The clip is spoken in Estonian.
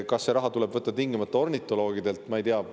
Kas see raha tuleb võtta tingimata ornitoloogidelt?